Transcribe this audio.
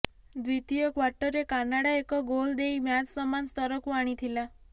ଦ୍ୱିତୀୟ କ୍ୱାର୍ଟରରେ କାନାଡା ଏକ ଗୋଲ ଦେଇ ମ୍ୟାଚ ସମାନ ସ୍ତରକୁ ଆଣିଥିଲା